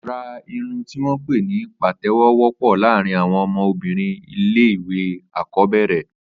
Àrà irùn tiwọn pé ni pátẹ̀wọ̀ wọpọ làárin awọn ọmọ òbìrín ilé iwé ákọ̀bẹrẹ̀